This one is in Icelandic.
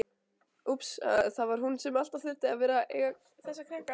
Það var hún sem alltaf þurfti að vera að eiga þessa krakka.